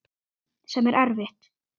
Sem er erfitt.